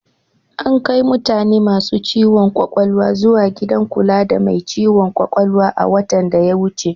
Ankai mutane masu ciwon ƙwaƙwalwa zuwa gidan kula da mai ciwon ƙwaƙwalwa a watan da ya wuce.